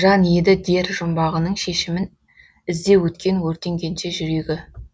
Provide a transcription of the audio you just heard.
жан еді дер жұмбағының шешімін іздеп өткен өртенгенше жүрегі